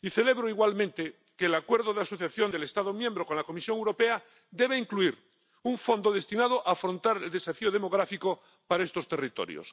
Y celebro igualmente que el acuerdo de asociación del Estado miembro con la Comisión Europea deba incluir un fondo destinado a afrontar el desafío demográfico para estos territorios.